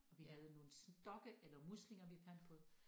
Og vi havde nogle stokke eller muslinger vi fandt på